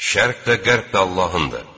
Şərq və qərb də Allahındır.